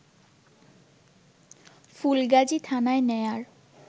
ফুলগাজী থানায় নেয়ার